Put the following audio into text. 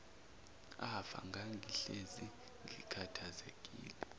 afa ngangihlezi ngikhathazekile